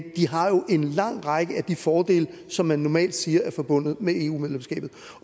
de har jo en lang række af de fordele som man normalt siger er forbundet med eu medlemskabet